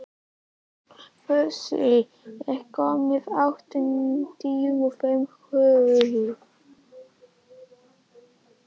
Fúsi, ég kom með áttatíu og fimm húfur!